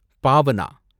Bhavana